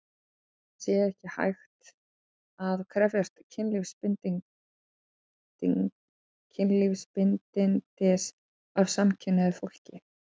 Þess vegna sé ekki hægt að krefjast kynlífsbindindis af samkynhneigðu fólki.